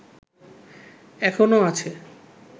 এখনো আছে